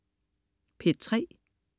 P3: